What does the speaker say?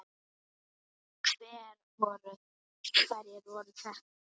Hverjir voru þetta?